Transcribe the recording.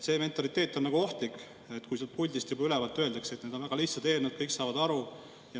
See mentaliteet on ohtlik, kui siit puldist juba ülevalt öeldakse, et need on väga lihtsad eelnõud, kõik saavad aru.